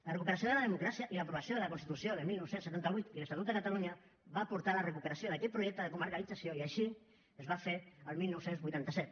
la recuperació de la democràcia i l’aprovació de la constitució de dinou setanta vuit i l’estatut de catalunya van portar la recuperació d’aquell projecte de comercialització i així es va fer el dinou vuitanta set